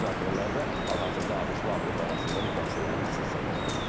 Bu müzakirələr də hal-hazırda ABŞ-la Avropa arasında mübahisələrin əsas səbəbidir.